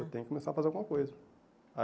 Eu tenho que começar a fazer alguma coisa. Aí